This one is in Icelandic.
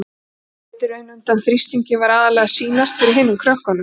Hún lét í raun undan þrýstingi, var aðallega að sýnast fyrir hinum krökkunum.